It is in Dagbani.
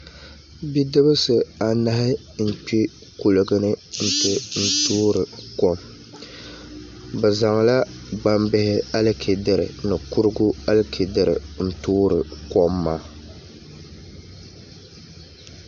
Bidibsi anahi n kpɛ kuligi ni n ti toori kom bi zaŋla gbambihi alichɛdiri ni kurigu alichɛdiri n toori kom maa